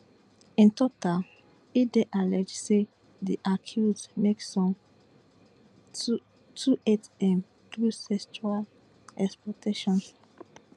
in total e dey alleged say di accused make some two two eight m through sexual exploitation